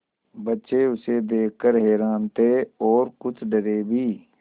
बच्चे उसे देख कर हैरान थे और कुछ डरे भी